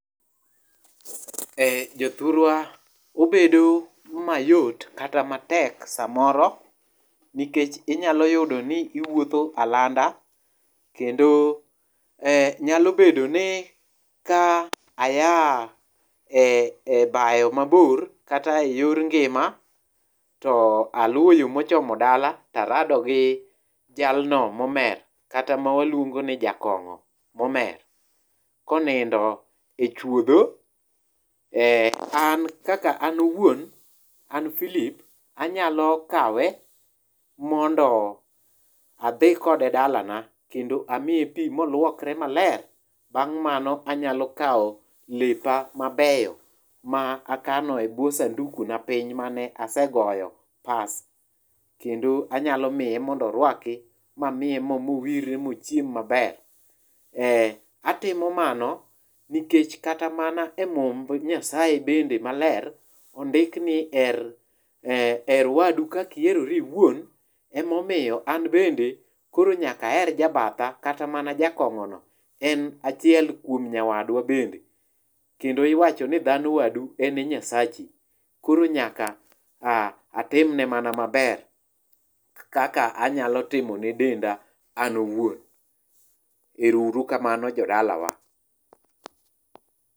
Eh jothurwa, obedo mayot kata matek samoro nikech inyalo yudo ni iwuotho alanda, kendo eh nyalobedo ni ka aya e bayo mabor, kata eyor ngima to aluwo yoo mochomo dala tarado gi jalno momer kata mawaluongo ni jakong'o momer konindo e chuodho, eh an kaka an awuon an Philip, anyalo kawe mondo adhi kode dalana kendo amiye pii moluokre maler. Bang' mano, anyalo kawo lepa mabeyo ma akano ebwo sanduku na piny mane asegoyo pas, kendo anyalo miye mondo oruaki mamiye moo moworre mochiem maber. Eh atimo mano, nikech kata mana e mumb Nyasaye bende maler, ondik ni eh her wadu kaka iherori iwuon, emomiyo an bende koro nyaka aher jabatha. Kata mana jakong'ono, en achiel kuom nyawadwa bende, kendo iwacho ni dhano wadu en e nyasachi, koro nyaka ah atimne mana maber kaka anyalo timo ne denda an awuon. Erouru kamano jodalawa.